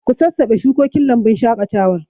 Ku sassabe shukokin lambun shaƙatawar.